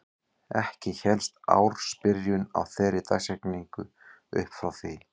Ekki hélst ársbyrjun á þeirri dagsetningu upp frá því.